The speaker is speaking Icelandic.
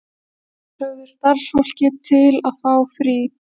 Sumir sögðu starfsfólkið til að fá frí.